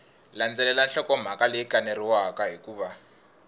landzelela nhlokomhaka leyi kaneriwaka hikuva